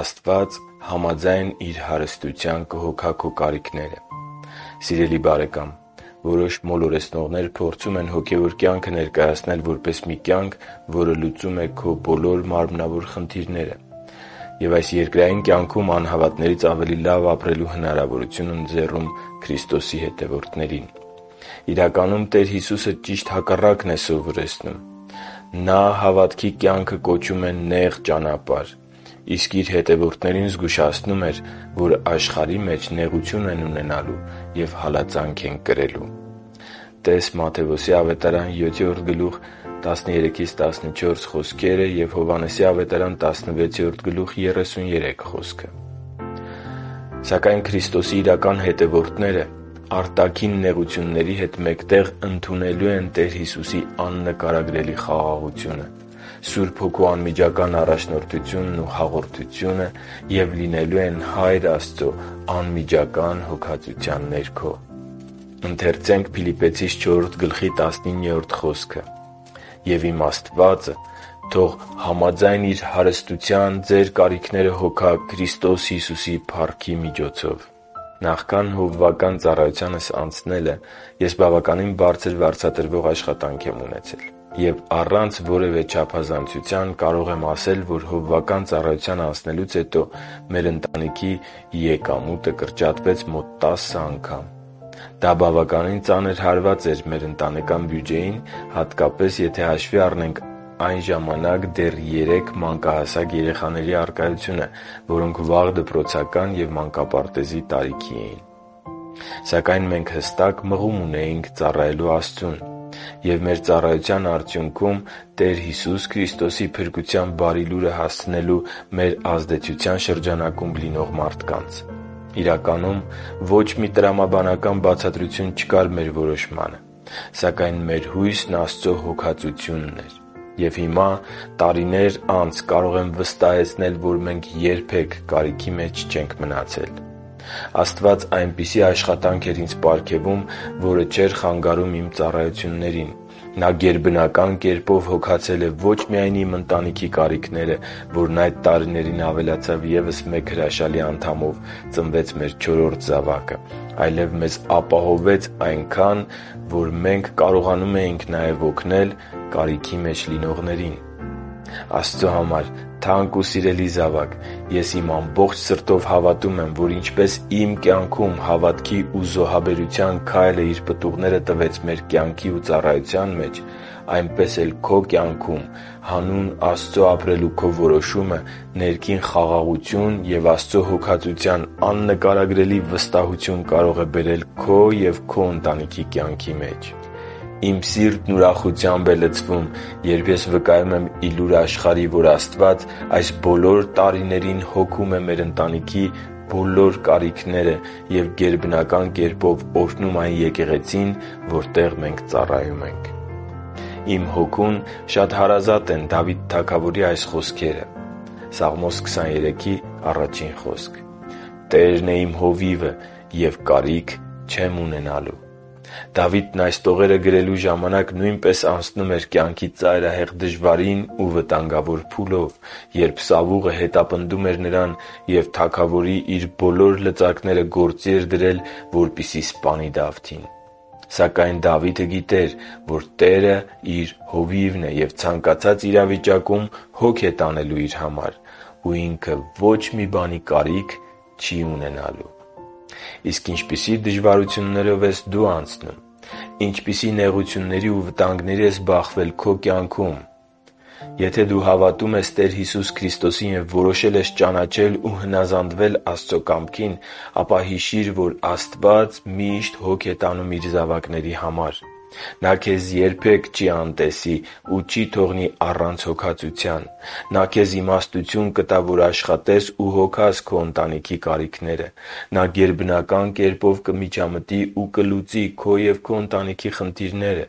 Աստված համաձայն Իր հարստության կհոգա քո կարիքները Սիրելի՛ բարեկամ, որոշ մոլորեցնողներ փորձում են հոգևոր կյանքը ներկայացնել որպես մի կյանք, որը լուծում է քո բոլոր մարմնավոր խնդիրները և այս երկրային կյանքում անհավատներից ավելի լավ ապրելու հնարավորության ընձեռում Քրիստոսի հավատարիմ հետևորդներին։ Իրականում Տեր Հիսուսը ճիշտ հակառակն էր սովորեցնում։ Նա հավատքի կյանքը կոչում էր «Նեղ ճանապարհ», իսկ Իր հետևորդներին զգուշացնում էր, որ աշխարհի մեջ նեղություն են ունենալու և հալածանք են կրելու (տե՛ս Մատթեոս 7.13-14 և Հովհաննես 16.33 հատվածները): Սակայն Քրիստոսի իրական հետևորդները արտաքին նեղությունների հետ մեկտեղ ընդունելու են Տեր Հիսուսի աննկարագրելի խաղաղությունը, Սուրբ Հոգու անմիջական առաջնորդությունն ու հաղորդությունը և լինելու են Հայր Աստծո անմիջական հոգատարության ներքո։ «Եվ իմ Աստվածը թող համաձայն իր հարստության ձեր կարիքները հոգա Քրիստոս Հիսուսի փառքի միջոցով» (Փիլիպպեցիներին 4․19): Ես բավականին բարձր վարձատրվող աշխատանք եմ ունեցել նախքան հովվական ծառայության անցնելը։ Եվ առանց որևէ չափազանցության կարող եմ ասել, որ հովվական ծառայության անցնելուց հետո մեր ընտանիքի եկամուտը կրճատվեց մոտ տասն անգամ։ Դա բավականին ծանր հարված էր մեր ընտանեկան բյուջեին, հատկապես, եթե հաշվի առնենք այն ժամանակ դեռ երեք մանկահասակ երեխաների առկայությունը, որոնք վաղ դպրոցական և մանկապարտեզի տարիքի էին։ Սակայն մենք հստակ մղում ունեինք ծառայելու Աստծուն և մեր ծառայության արդյունքում Տեր Հիսուս Քրիստոսի փրկության Բարի Լուրը հասցնելու մեր ազդեցության շրջանակում լինող մարդկանց։ Իրականում, ոչ մի տրամաբանական բացատրություն չկար մեր որոշմանը։ Սակայն մեր հույսն Աստծո հոգածությունն էր։ Եվ հիմա՝ տարիներ անց, կարող եմ վստահեցնել, որ մենք երբե՛ք կարիքի մեջ չենք մնացել։ Աստված այնպիսի աշխատանք էր ինձ պարգևում, որը չէր խանգարում իմ ծառայություններին։ Նա գերբնական կերպով հոգացել է ոչ միայն իմ ընտանիքի կարիքները, որն այդ տարիներին ավելացավ ևս մեկ հրաշալի անդամով՝ ծնվեց մեր չորրորդ զավակը, այլև մեզ ապահովեց այնքան, որ մենք կարողանում էինք նաև օգնել կարիքի մեջ լինողներին։ Աստծո համար թանկ ու սիրելի զավա՛կ, ես իմ ամբողջ սրտով հավատում եմ, որ ինչպես իմ կյանքում հավատքի ու զոհաբերության քայլը իր պտուղները տվեց մեր կյանքի ու ծառայության մեջ, այնպես էլ քո կյանքում հանուն Աստծո ապրելու քո որոշումը ներքին խաղաղություն և Աստծո հոգածության աննկարագրելի վստահություն կարող է բերել քո և քո ընտանիքի կյանքի մեջ։ Իմ սիրտն ուրախությամբ է լցվում, երբ ես վկայում եմ ի լուր աշխարհի, որ Աստված այս բոլոր տարիներին հոգում է մեր ընտանիքի բոլոր կարիքները և գերբնական կերպով օրհնում այն եկեղեցին, որտեղ մենք ծառայում ենք։ Իմ հոգուն շատ հարազատ են Դավիթ թագավորի այս խոսքերը. «Տերն է իմ հովիվը, և կարիք չեմ ունենալու»(Սաղմոս 23․1): Դավիթն այս տողերը գրելու ժամանակ նույնպես անցնում էր կյանքի ծայրահեղ դժվարին ու վտանգավոր փուլով, երբ Սավուղը հետապնդում էր նրան և թագավորի իր բոլոր լծակները գործի էր դրել, որպեսզի սպանի Դավթին։ Սակայն Դավիթը գիտեր, որ Տերը իր Հովիվն է և ցանկացած իրավիճակում հոգ է տանելու իր համար ու որ ինքը ոչ մի բանի կարիք չի ունենալու։ Իսկ ինչպիսի՞ դժվարություններով ես դո՛ւ անցնում։ Ինչպիսի՞ նեղությունների ու վտանգների ես բախվել քո կյանքում։ Եթե դու հավատում ես Տեր Հիսուս Քրիստոսին և որոշել ես ճանաչել ու հնազանդվել Աստծո կամքին, ապա հիշի՛ր, որ Աստված միշտ հոգ է տանում Իր զավակների համար։ Նա քեզ երբեք չի անտեսի ու չի թողնի առանց հոգածության։ Նա քեզ իմաստություն կտա, որ աշխատես ու հոգաս քո ընտանիքի կարիքները։ Նա գերբնական կերպով կմիջամտի ու կլուծի քո և քո ընտանիքի խնդիրները։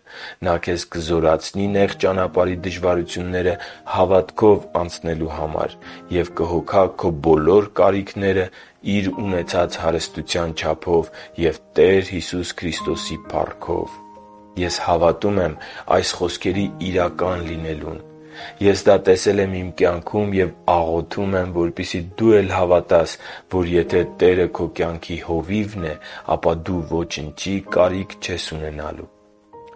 Նա քեզ կզորացնի նեղ ճանապարհի դժվարությունները հավատքով անցնելու համար և կհոգա քո բոլոր կարիքները իր ունեցած հարստության չափով և Տեր Հիսուս Քրիստոսի փառքով։ Ես հավատում եմ այս խոսքերի իրական լինելուն։ Ես դա տեսել եմ իմ կյանքում և աղոթում եմ, որպեսզի դու էլ հավատաս, որ եթե Տերը քո կյանքի Հովիվն է, ապա դու ոչնչի կարիք չես ունենա։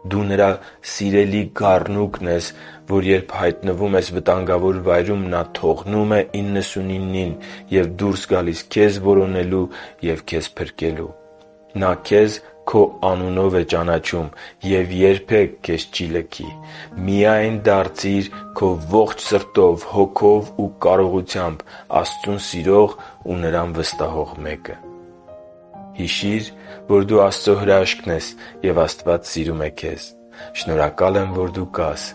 Դու Նրա սիրելի գառնուկն ես, որ երբ հայտնվում ես վտանգավոր վայրում, Նա թողնում է իննսունիննին և դուրս գալիս քեզ որոնելու և փրկելու։ Նա քեզ քո անունով է ճանաչում և երբեք քեզ չի լքի։ Միայն դարձիր քո ողջ սրտով, հոգով ու կարողությամբ Աստծուն սիրող ու Նրան վստահող մեկը։ Հիշի՛ր, որ դու Աստծո հրաշքն ես, և Աստված սիրում է քեզ։ Շնորհակալ եմ, որ դու կա՛ս